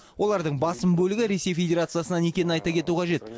олардың басым бөлігі ресей федерациясынан екенін айта кету қажет